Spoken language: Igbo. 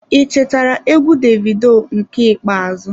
I chetara egwu Davido nke ikpeazụ.